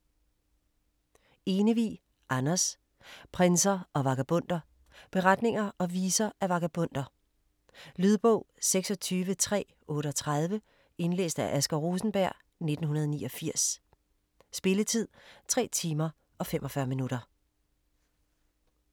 Enevig, Anders: Prinser og vagabonder Beretninger og viser af vagabonder. Lydbog 26338 Indlæst af Asger Rosenberg, 1989. Spilletid: 3 timer, 45 minutter.